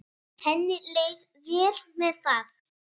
Henni leið vel með það.